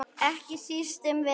Ekki síst um vetur.